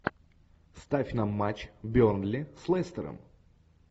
ставь нам матч бернли с лестером